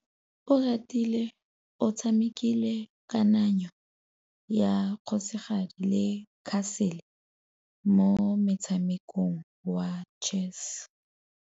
Oratile o tshamekile kananyô ya kgosigadi le khasêlê mo motshamekong wa chess.